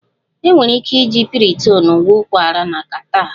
Enwere ike iji Piriton gwọọ ụkwara na catarrh